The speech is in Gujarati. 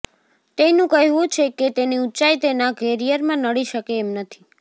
તેનુ કહેવુ છે કે તેની ઉંચાઇ તેના કેરીયરમાં નડી શકે એમ નથી